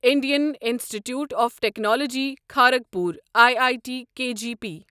Indian Institute of Technology Kharagpur I I T K G P